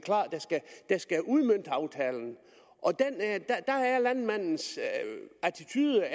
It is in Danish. udmønte aftalen og landmandens attitude